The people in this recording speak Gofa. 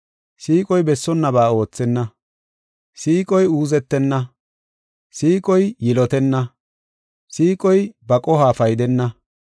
Siiqoy bessonnaba oothenna. Siiqoy uuzetenna. Siiqoy yilotenna. Siiqoy ba qoho paydenna.